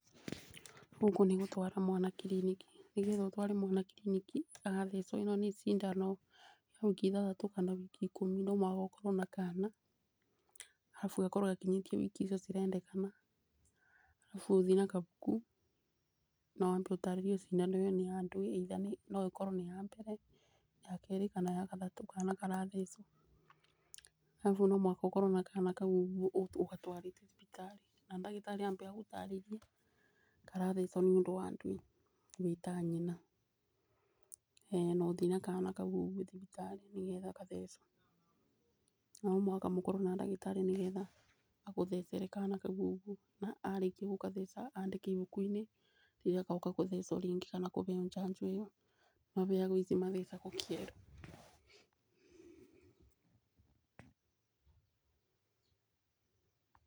Gũkũ nĩgũtwara mwana kiriniki nĩ getha ũtware mwana kiriniki agathecwo, ĩno nĩ cindano ya wiki ithathatũ kana wiki ikũmi no nginya ũkorwo na kana arabu akorwo akinyĩtie wiki icio cirendekana. Arabu ũthi na kabuku na wambe ũtarĩrĩria cindano ĩyo nĩ ya ndũĩ na no ĩkorwo nĩ ya mbere ya kerĩ kana ya gatatũ kana karathecwo. Ũguo no mũhaka ũkorwo na kana kau ũgatwarĩte thibitarĩ, na ndagĩtarĩ ame agũtarĩrie karathecwo nĩ ũndũ wa ndũĩ wĩ ta nyina. ĩĩ no ũthiĩ na kana kau thibitarĩ nĩ getha gathecwo, no mũhaka mũkorwo na ndagitarĩ nĩ getha agũthecere kana kau ũguo na arĩki gũgatheca andĩke ibuku-inĩ rĩrĩa gagoka kũthecwo ringĩ kana kũbeo njanjo ĩyo mabeagwo ici mathecagwo ciero.